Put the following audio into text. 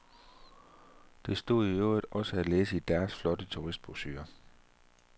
Det stod i øvrigt også at læse i deres flotte turistbrochurer.